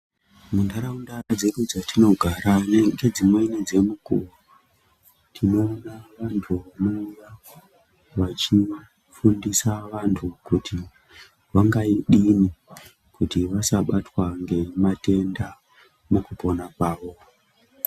Munharaunda dzedu dzetinogara ngedzimweni dzemukuwo tinoona vantu vanouya vachifundisa vantu kuti vangadini kuti vasabatwa ngematenda mukupona kwavo